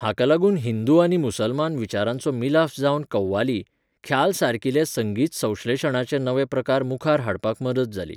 हाका लागून हिंदू आनी मुसलमान विचारांचो मिलाफ जावन कव्वाली, ख्याल सारकिले संगीत संश्लेशणाचे नवे प्रकार मुखार हाडपाक मदत जाली.